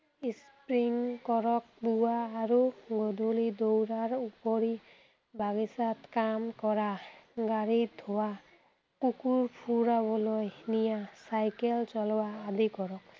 skipping কৰক, পুৱা আৰু গধূলি দৌৰাৰ উপৰি, বাগিচাত কাম কৰা, গাড়ী ধোৱা, কুকুৰ ফুৰাবলৈ নিয়া চাইকেল চলোৱা আদি কৰক।